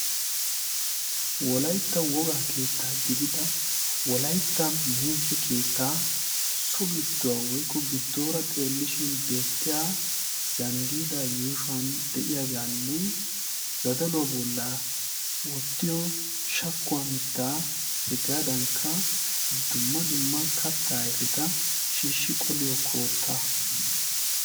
Wolaytta woga keettaa gidida wolaitta meeshe keettaa so gidduwaa woikko giddoora xeellishin beettiya zanddiida yuushuwan de'iyaagaanne zadaluwaa bolla wottiyo shakkuwaa mittaa hegaadankka dumma dumma kattaa aifeta shiishshi qoliyo koottaa.